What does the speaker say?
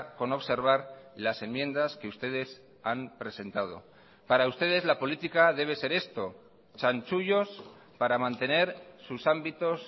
con observar las enmiendas que ustedes han presentado para ustedes la política debe ser esto chanchullos para mantener sus ámbitos